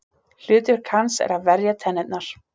Hlutverk hans er að verja tennurnar.